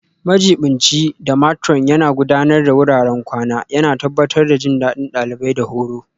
Majiɓinci da Matron Yana Gudanar da wuraren kwana, yana tabbatar da jin daɗin ɗalibai da horo.